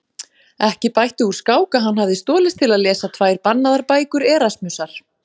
Ekki bætti úr skák að hann hafði stolist til að lesa tvær bannaðar bækur Erasmusar.